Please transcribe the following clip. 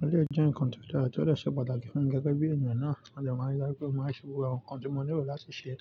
O le jẹ nǹkan tó dára tí ó le ṣe pàtàkì fún gẹ́gẹ́ bí ènìyàn náà máa ṣe máa rí láti máa ṣe gbogbo àwọn nǹkan tí mo nílò láti ṣe.